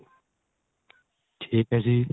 ਠੀਕ ਏ ਜੀ